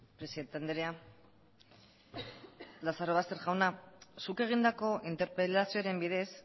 presidente andrea lazarobaster jauna zuk egindako interpelazioaren bidez